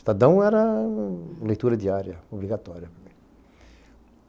Estadão era leitura diária, obrigatória.